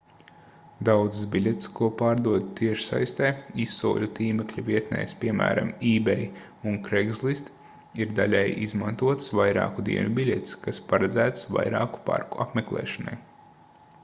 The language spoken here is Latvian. daudzas biļetes ko pārdod tiešsaistē izsoļu tīmekļa vietnēs piemēram ebay un craigslist ir daļēji izmantotas vairāku dienu biļetes kas paredzētas vairāku parku apmeklēšanai